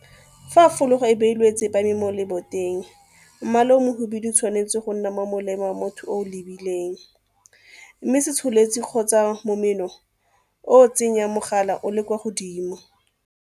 Fa fologa e beilwe e tsepame mo leboteng, mmala o mohibidu o tshwanetse go nna ka fa molemeng wa motho yo o e lebileng mme setsholetsi kgotsa momeno o o tsenyang mogala o le kwa godimo.